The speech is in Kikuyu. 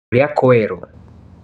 Ũrĩa kwero.